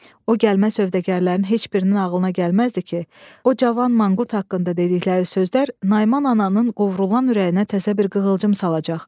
O gəlmə sövdəgərlərin heç birinin ağlına gəlməzdi ki, o cavan manqurt haqqında dedikləri sözlər Naiman ananın qovrulanan ürəyinə təzə bir qığılcım salacaq.